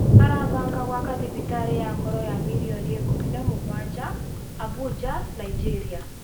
Arabanga gwaka thibitarĩ ya ngoro ya mirioni ikũmi na mũgwanja, Abuja Nigeria